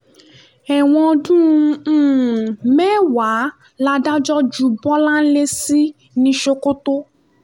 ẹ̀wọ̀n ọdún um mẹ́wàá làdájọ́ ju bọ́láńlé sí ní sokoto